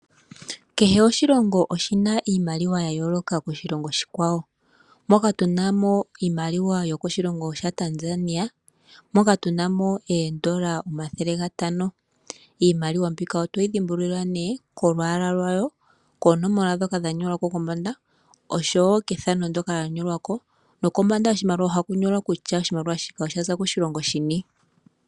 Kehe oshilongo oshina iimaliwa ya yooloka koshilongo oshikwawo, moka tunamo iimaliwa yokoshilongo sha Tanzania moka tunamo eedollar 500, iimaliwa mbika otoyi dhimbulula nee kolwaala lwayo, koonomola dhoka dha nyolwa kombanda oshowo kethano ndyoka lya nyolwa ko nokombanda yoshimaliwa ohaku nyolwa kutya oshimaliwa shika oshaza koshilongo shini.